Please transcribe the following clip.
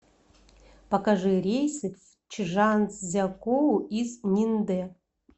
покажи рейсы в чжанцзякоу из ниндэ